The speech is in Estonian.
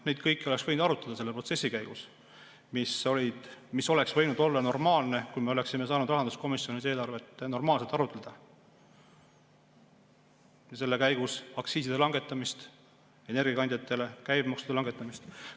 Seda kõike oleks võinud arutada selle protsessi käigus, mis oleks võinud olla normaalne, kui me oleksime saanud rahanduskomisjonis eelarvet normaalselt arutleda, selle käigus arutada aktsiiside langetamist, energiakandjate käibemaksu langetamist.